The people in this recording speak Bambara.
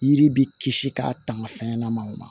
Yiri bɛ kisi k'a tanga fɛnɲɛnɛmaw ma